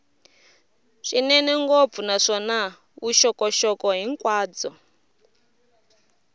swinene ngopfu naswona vuxokoxoko hinkwabyo